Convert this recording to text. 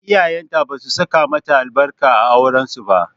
Iyayenta basu saka mata albarka a auren su ba.